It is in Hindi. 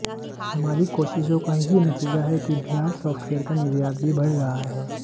हमारी कोशिशों का ही नतीजा है कि बिहार सॉफ्टवेयर का निर्यात भी बढ़ रहा है